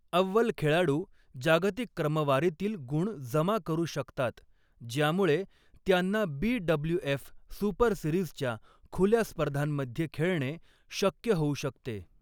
अव्वल खेळाडू जागतिक क्रमवारीतील गुण जमा करू शकतात, ज्यामुळे त्यांना बी.डब्ल्यू.एफ. सुपर सिरीजच्या खुल्या स्पर्धांमध्ये खेळणे शक्य होऊ शकते.